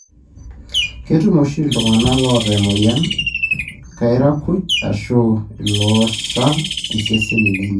ketum oshi iltungana loota emoyian kairakuj ashu ilooshal iseseni lenye.